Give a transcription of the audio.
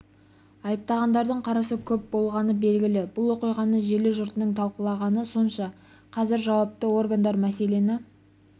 айыптағандардың қарасы көп болғаны белгілі бұл оқиғаны желі жұртының талқылағаны сонша қазір жауапты органдар мәселені